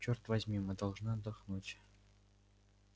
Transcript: черт возьми мы должны отдохнуть